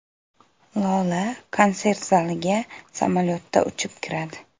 Lola konsert zaliga samolyotda uchib kiradi.